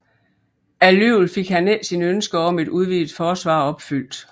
Alligevel fik han ikke sine ønsker om et udvidet forsvar opfyldt